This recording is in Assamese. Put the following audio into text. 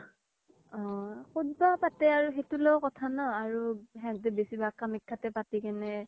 অ ক্'ত বা পাতে সেওতোৰ লগত কথা ন আৰু সেহেনথে বেচি ভাগ কামাখ্যা তে পাতি কিনে